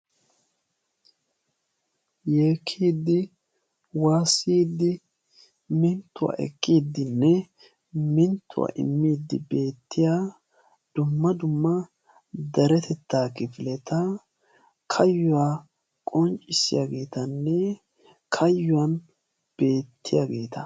Yeekkidde waassiddinne minttuwa ekkidinne minttuwaa immiddi bettiyaa dumma dumma deretetta giddon kayuwa qonccissiya kayuwan bettiyaagetta.